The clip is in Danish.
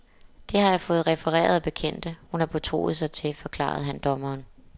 Det har jeg fået refereret af bekendte, hun har betroet sig til, forklarede han dommeren.